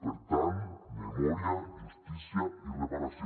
per tant memòria justícia i reparació